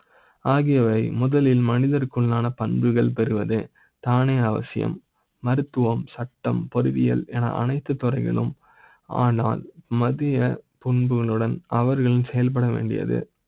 ஆகியவை முதலில் மனிதருக்கு மான பண்புகள் பெறுவது தானே அவசியம். மருத்துவ ம், சட்டம், பொறியியல் என அனைத்து துறைகளும். ஆனால் மத்திய முன்பு னுடன் அவர்கள் செயல்பட வேண்டியது